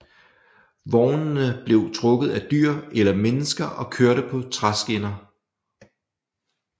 Vognene blev trukket af dyr eller mennesker og kørte på træskinner